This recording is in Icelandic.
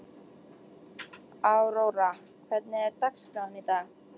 Aurora, hvernig er dagskráin í dag?